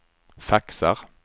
faxar